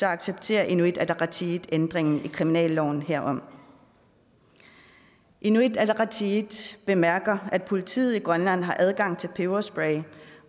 accepterer inuit ataqatigiit ændringen i kriminalloven herom inuit ataqatigiit bemærker at politiet i grønland har adgang til peberspray